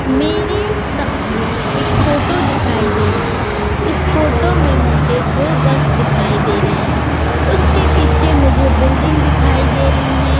मेरे सामने इक फोटो दिखाई दे रहा है इस फोटो में मुझे दो बस दिखाई दे रहे हैं उसके पीछे मुझे बिल्डिंग दिखाई दे रही है।